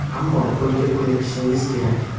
Ammo bunga ko‘nikishingiz kerak.